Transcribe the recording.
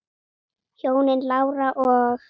Hjónin Lára og